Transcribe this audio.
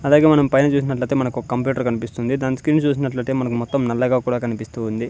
అలాగే మనం పైన చూసినట్లయితే మనకు ఒక కంప్యూటర్ కనిపిస్తుంది దాని స్క్రీన్ చూసినట్లయితే మనకు మొత్తం నల్లగా కూడా కనిపిస్తూ ఉంది.